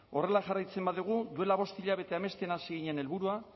horrela jarraitzen badugu duela bost hilabete amesten hasi ginen helburua